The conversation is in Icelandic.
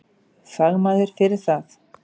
Fagmaður fyrir það.